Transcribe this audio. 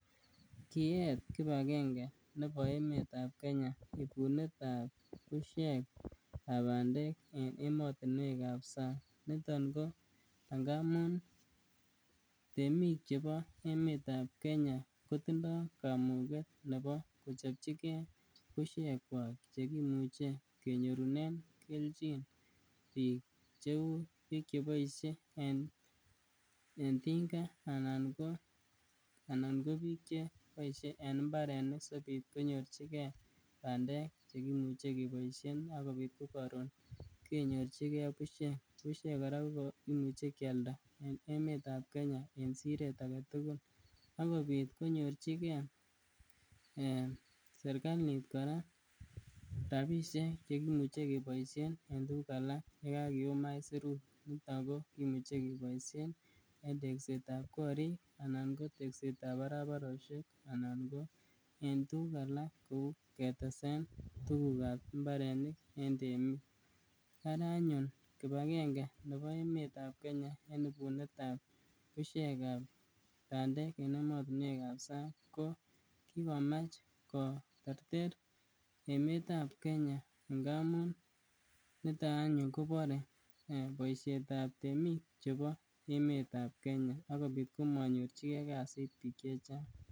Kiyeet kipagenge nebo emeet ab Kenya ibunet ab busyek ab bandek en emotinuekab sang', niton ko ingamun temik chebo emeet ab kenya kotindo kamuget nebo kochobchigee buisekwak chekimuche kenyorun kenjin kou biik cheu cheboise en tinga anan ko biik cheboisie en mbarenik sikobit konyorchigen bandek chekimuche keboisien ak kobit ko karoon kenyorchigen busyek, busyek kora ko kimuche kialde en emeet ab Kenya en sireet agetugul, akobit konyirchige serkalit kora rabisiek chekimuche keboisien en tuguk alak yekakium aisurusyek ako kimuche keboisyen en tekset ab korik anan ko tekset ab barabarosyek anan ko en tuguk alak kou ketesen tuguk ab mbarenik en temik, ara anyun kipagenge nebo emeet ab Kenya en ibunet ab busyek ab bandek en emotunuek ab sang ko kikomach koterter emeet ab Kenya ngamun niton anyun kobore boisietab temik chebo emeet ab Kenya ak kobik komanyorchigen kasit bik chechang'.